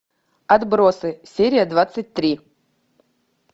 отбросы серия двадцать три